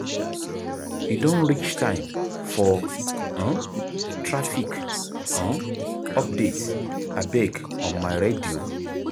E don reach time for um traffic um update abeg on my radio.